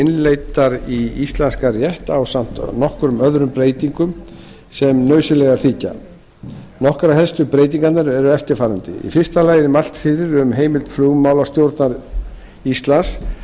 innleiddar í íslenskan rétt ásamt nokkrum öðrum breytingum sem nauðsynlegar þykja nokkrar helstu breytingarnar eru eftirfarandi í fyrsta lagi er mælt fyrir heimild flugmálastjórnar íslands